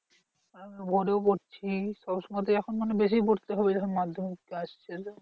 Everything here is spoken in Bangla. এখন তো ভোরেও পড়ছি সবসময় তে এখন মানে বেশি পড়তে হবে যখন মাধ্যমিক আসছে।